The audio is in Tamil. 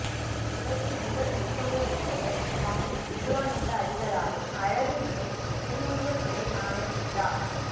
உலகின் முதல் முத்தமிழ்வித்தகர் சுவாமி விபுலானந்தஅடிகளாரின் அழகுநிறை திருவுருவச்சிலை நாளை சித்ரா